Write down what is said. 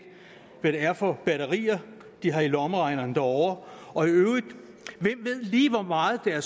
hvad det er for batterier de har i lommeregneren derovre og i øvrigt hvem ved lige hvor meget af